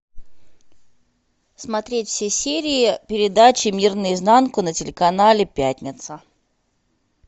смотреть все серии передачи мир наизнанку на телеканале пятница